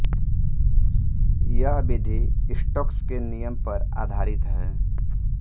यह विधि स्टोक्स के नियम पर आधारित है